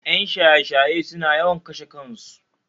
En shaye shaye suna yawan kashe kansu